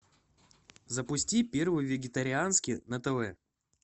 запусти первый вегетарианский на тв